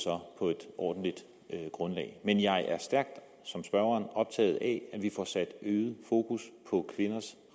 på et ordentligt grundlag men jeg er som spørgeren stærkt optaget af at vi får sat øget fokus på kvinders